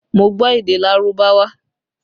Mo gbọ́ èdè Lárúbáwá